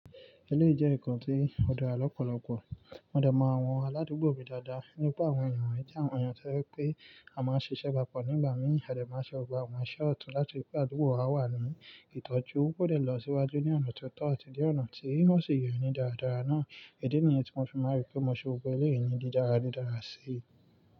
Ilé ìjẹ́ ìkàn tí ó dára lọ́pọ̀lọpọ̀, mo dẹmọ àwọn aládùúgbò mi dáadáa nípa àwọn ènìyàn je àwọn ènìyàn tó je pé a máa ń ṣiṣẹ́ papọ̀ nígbà mìí a de máa ṣe gbogbo àwọn iṣẹ́ ọ̀tún láti ripé àdúgbò wa wà ní ìtọ́jú kóde lọ síwájú ní ọ̀nà tó tọ́ ati ni ọ̀nà tí ó sì yẹni dáradára náà. Idi ni yen tí mo fi ma ripe mo ṣe gbogbo elé yìí ni dídáràdídára sí.